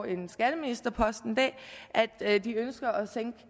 en skatteministerpost en dag at at de ønsker at sænke